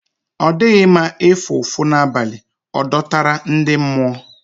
Ọ dịghị nma ịfụ ụfụ n'abalị, ọ dọtara ndị mmụọ.